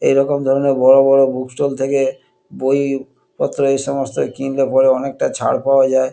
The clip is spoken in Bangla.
এরকম ধরণের বড় বড় বুক ষ্টল থেকে বই-ই পত্র এই সমস্ত কিনলে পরে অনেকটা ছাড় পাওয়া যায়।